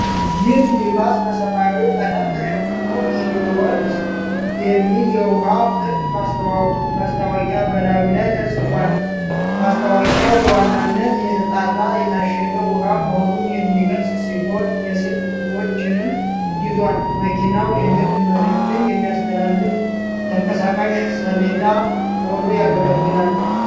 ይህ ሚኒባስ በሰማያዊ ቀለም ተሸፍኖ፣ “ሕይወት” የሚል የውሃ ምርት ማስታወቂያ በላዩ ላይ ተጽፏል። ማስታወቂያው በዋናነት የተጣራ የታሸገ ውሃ መሆኑን የሚገልጽ ሲሆን፣ የስልክ ቁጥሮችንም ይዟል። መኪናው የንግድ መልዕክትን የሚያስተላልፍ ተንቀሳቃሽ ሰሌዳ ሆኖ ያገለግላል።